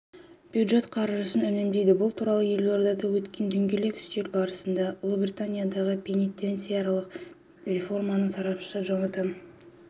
бюджет қаржысын үнемдейді бұл туралы елордада өткен дөңгелек үстел барысында ұлыбританиядағы пенитенциарлық реформаның сарапшысы джонатан